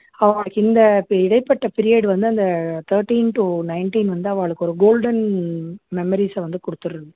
அவாளுக்கு இந்த இப்ப இடைப்பட்ட period வந்து அந்த thirteen to nineteen வந்து அவாளுக்கு ஒரு golden memories அ வந்து குடுத்துருது